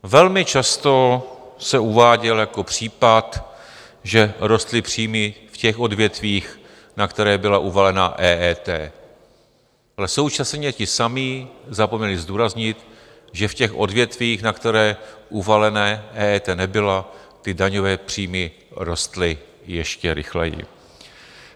Velmi často se uváděl jako případ, že rostly příjmy v těch odvětvích, na která byla uvalena EET, ale současně ti samí zapomněli zdůraznit, že v těch odvětvích, na která uvalena EET nebyla, ty daňové příjmy rostly ještě rychleji.